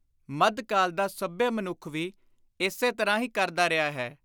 ਮੱਧਕਾਲ ਦਾ ਸੱਭਿਅ ਮਨੁੱਖ ਵੀ ਏਸੇ ਤਰ੍ਹਾਂ ਹੀ ਕਰਦਾ ਰਿਹਾ ਹੈ।